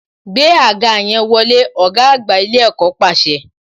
Gbé àga yẹn wọlé, ọ̀gá àgbà ilé ẹ̀kọ́ pàṣẹ